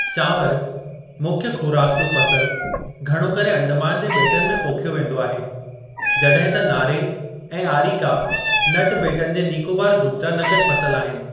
चांवर, मुख्यु ख़ोराक जो फ़सुल, घणो करे अंडमान जे ॿेटनि में पोखियो वेंदो आहे, जॾहिं त नारेलु ऐं आरीका नटु ॿेटनि जे नीकोबार ग्रूपु जा नक़द फ़सुल आहिनि।